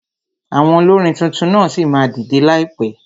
Àwọn olórin tuntun ṣì máa dìdẹ láìpẹ.